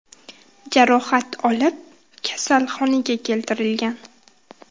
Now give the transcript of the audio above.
jarohat olib, kasalxonaga keltirilgan.